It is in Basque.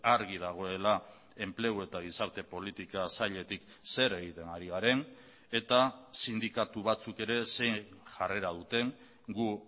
argi dagoela enplegu eta gizarte politika sailetik zer egiten ari garen eta sindikatu batzuk ere zein jarrera duten gu